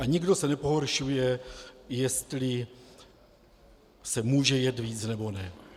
A nikdo se nepohoršuje, jestli se může jet víc, nebo ne.